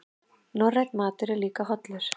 Norrænn matur líka hollur